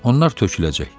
Onlar töküləcək.